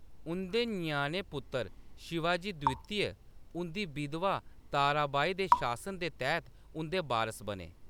उंʼदे ञ्याणे पुत्तर शिवाजी द्वितीय, उंʼदी बिधवा ताराबाई दे शासन दे तैह्‌‌‌त उंʼदे बारस बने।